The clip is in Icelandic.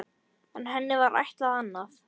En henni var ætlað annað.